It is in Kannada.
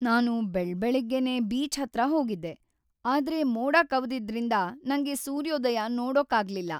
ನಾನು ಬೆಳಬೆಳಗ್ಗೆನೇ ಬೀಚ್‌ ಹತ್ರ ಹೋಗಿದ್ದೆ, ಆದ್ರೆ ಮೋಡ ಕವಿದಿದ್ರಿಂದ ನಂಗೆ ಸೂರ್ಯೋದಯ ನೋಡೋಕಾಗ್ಲಿಲ್ಲ.